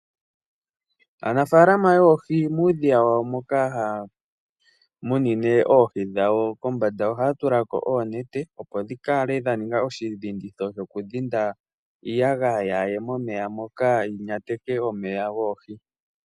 Aanafaalama yoohi muudhiya wawo moka haya munine oohi dhawo kombanda ohaya tula ko oonete, opo dhi kale dha ninga oshidhinditho shokudhinda iiyagaya yaa ye momeya moka yi ya teke omeya goohi.